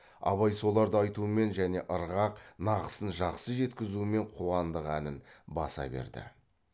абай соларды айтумен және ырғақ нақысын жақсы жеткізумен қуандық әнін баса берді